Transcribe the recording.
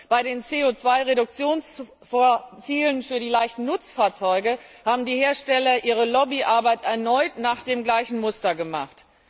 Bei den CO Reduktionszielen für die leichten Nutzfahrzeuge haben die Hersteller ihre Lobbyarbeit erneut nach dem gleichen Muster gemacht.